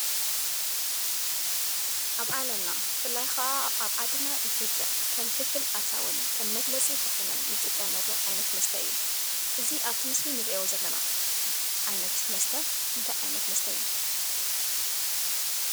ኣብ ዓለምና ብፍላይ ክዓ ኣብ ዓድና ኢትዮጵያ ከም ፍልፍል ኣታዉን ከም መግለፂ ባህልናን እንጥቀመሉ ዓይነት መስተ እዩ። እዚ ኣብቲ ምስሊ እንሪኦ ዘለና ዓይነት መስተ እንታይ ዓይነት መስተ እዩ?